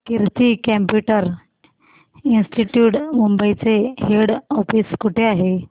कीर्ती computer institute Mumbai चे head office कुठे आहे